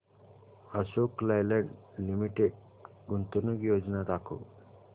Ashok Leyland limited गुंतवणूक योजना दाखव